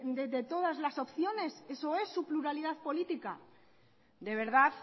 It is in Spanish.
de todas las opciones eso es su pluralidad política de verdad